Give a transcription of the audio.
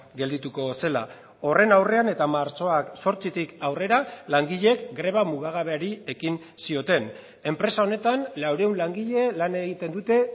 geldituko zela horren aurrean eta martxoak zortzitik aurrera langileek greba mugagabeari ekin zioten enpresa honetan laurehun langile lan egiten dute